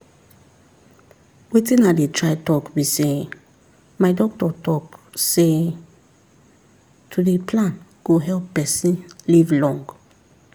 wetin i dey try talk be say my doctor talk say to dey plan go help person live long